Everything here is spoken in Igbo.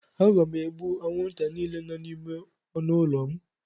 Aga m egbu anwụnta niile nọ n'ime ọnụ ụlọ m.